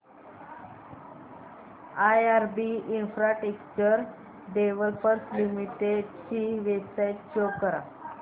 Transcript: IRB infrastructure developers limited ची website show करा